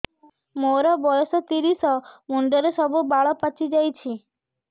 ମୋର ବୟସ ତିରିଶ ମୁଣ୍ଡରେ ସବୁ ବାଳ ପାଚିଯାଇଛି